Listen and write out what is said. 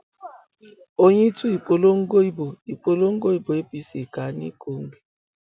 oyin tú ìpolongo ìbò ìpolongo ìbò apc ká ní kogi